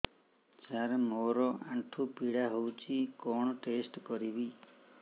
ସାର ମୋର ଆଣ୍ଠୁ ପୀଡା ହଉଚି କଣ ଟେଷ୍ଟ କରିବି